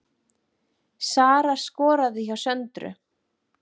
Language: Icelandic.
Sara skoraði hjá Söndru